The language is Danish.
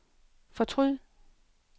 fortryd